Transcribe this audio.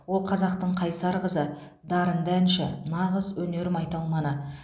ол қазақтың қайсар қызы дарынды әнші нағыз өнер майталманы